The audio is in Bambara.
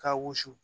K'a wusu